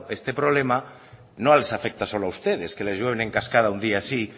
este problema no les afecta solo a ustedes que les veo en encascada un día sí